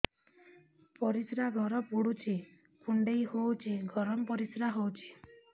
ପରିସ୍ରା ଘର ପୁଡୁଚି କୁଣ୍ଡେଇ ହଉଚି ଗରମ ପରିସ୍ରା ହଉଚି